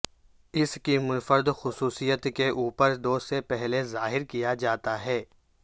اس کی منفرد خصوصیت کے اوپر دو سے پہلے ظاہر کیا جاتا ہے